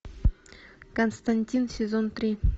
константин сезон три